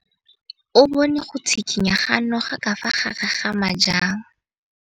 O bone go tshikinya ga noga ka fa gare ga majang.